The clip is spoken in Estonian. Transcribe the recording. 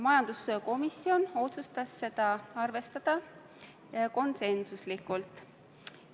Majanduskomisjon otsustas seda ettepanekut arvestada konsensuslikult.